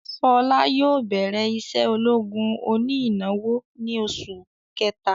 Ṣọlá yóò bẹrẹ isé ológun oní ìnáwó ni oṣù kẹta